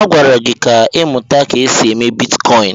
Agwara gị ka ịmụta ka esi eme bitkọịn!